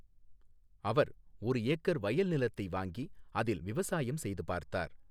அவர் ஒரு ஏக்கர் வயல் நிலத்தை வாங்கி அதில் விவசாயம் செய்து பார்த்தார்.